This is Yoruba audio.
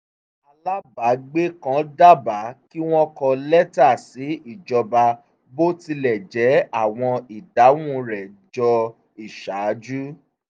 alábàágbe kan dábàá kí wọ́n kọ lẹ́tà sí ìjọba bó tilẹ̀ jẹ́ àwọn ìdáhùn rẹ jọ iṣaaju